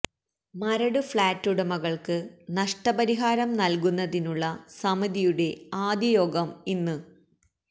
Maradu flat ഉടമകള്ക്ക് നഷ്ട പരിഹാരം നല്കുന്നതിനുള്ള സമിതിയുടെ ആദ്യയോഗം ഇന്ന്